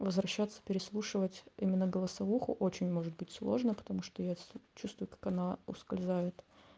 возвращаться переслушивать именно голосовуху очень может быть сложно потому что я чувствую как она ускользает